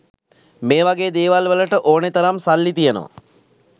මේ වගේ දේවල් වලට ඕනේ තරම් සල්ලි තියෙනවා.